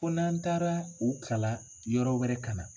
Ko n'an taara o kalan yɔrɔ wɛrɛ ka na